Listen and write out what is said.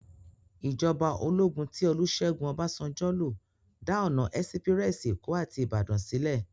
Ijòbá ólógún ti Olusegun Obasanjo ló dá òná èsipirèsi Ékó áti Ibadan silè